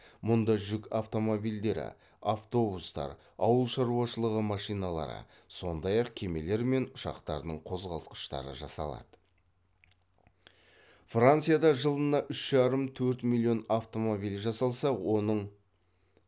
мұнда жүк автомобильдері автобустар ауыл шаруашылығы машиналары сондай ақ кемелер мен ұшақтардың қозғалтқыштары жасалады